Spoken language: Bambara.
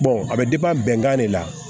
a bɛ bɛnkan de la